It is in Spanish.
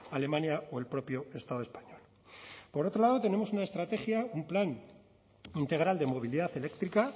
alemania o el propio estado español por otro lado tenemos una estrategia un plan integral de movilidad eléctrica